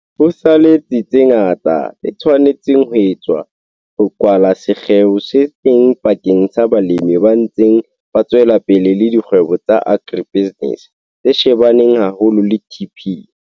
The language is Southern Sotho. Ho sa le tse ngata tse tshwanetseng ho etswa ho kwala sekgeo se teng pakeng tsa balemi ba ntseng ba tswela pele le dikgwebo tsa agribusiness tse shebaneng haholo le TP.